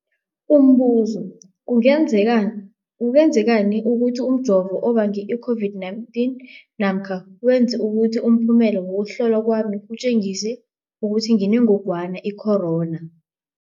Umbuzo, kungenzeka, kungenzekana ukuthi umjovo ubange i-COVID-19 namkha wenze ukuthi umphumela wokuhlolwa kwami utjengise ukuthi nginengogwana i-corona?